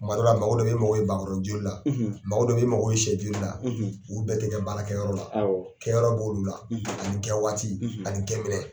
Kuma dɔ la mago dɔ bɛ ye i mago bɛ bakɔrɔni joli la mago dɔ bɛ ye i mako i sɛ joli la olu bɛɛ tɛ kɛ baarakɛ yɔrɔ la kɛyɔrɔ de bɛ olu la ani kɛ waati ani kɛ